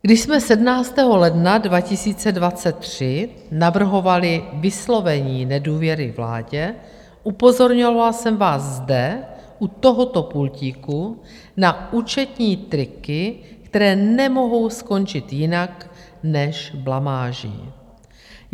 Když jsme 17. ledna 2023 navrhovali vyslovení nedůvěry vládě, upozorňovala jsem vás zde u tohoto pultíku na účetní triky, které nemohou skončit jinak než blamáží.